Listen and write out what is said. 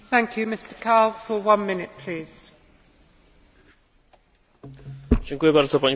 Spodziewam się, Panie Komisarzu, że podczas szczytu będzie mowa o modernizacji.